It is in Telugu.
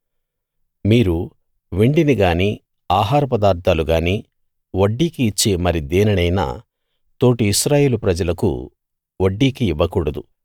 మీరు వెండిని గానీ ఆహారపదార్ధాలు గానీ వడ్డీకి ఇచ్చే మరి దేనినైనా తోటి ఇశ్రాయేలు ప్రజలకు వడ్డీకి ఇవ్వకూడదు